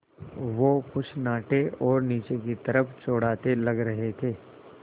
वो कुछ नाटे और नीचे की तरफ़ चौड़ाते लग रहे थे